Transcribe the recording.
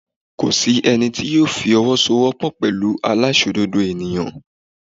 Kò sí ẹni tí yóò fowosowopo pẹ̀lú aláìṣòdodo ènìyàn.